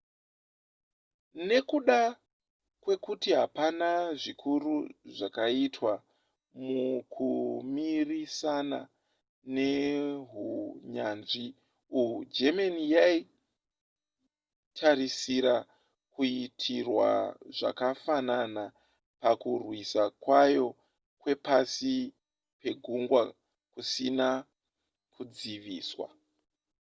nekuda kwekuti hapana zvikuru zvakaitwa mukumirisana nehunyanzvi uhwu germany yaitarisira kuitirwa zvakafanana pakurwisa kwayo kwepasi pegungwa kusina kudziviswa